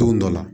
Don dɔ la